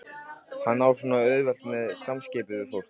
Hann á svo auðvelt með samskipti við fólk.